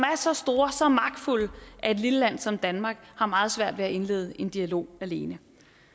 så store så magtfulde at et lille land som danmark har meget svært ved at indlede en dialog alene